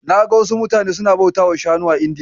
Naga wasu mutane suna bautawa Shanu a Indiya.